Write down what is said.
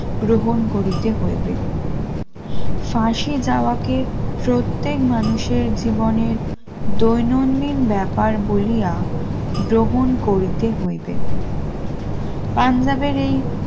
গ্রহণ করিতে হইবে ফাঁসে যাওয়াকে প্রত্যেক মানুষের জীবনের দৈনন্দিন ব্যাপার বলিয়া গ্রহণ করিতে হইবে পাঞ্জাবের এই